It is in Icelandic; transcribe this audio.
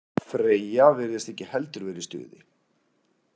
Freyja virðist ekki heldur vera í stuði.